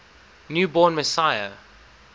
new born messiah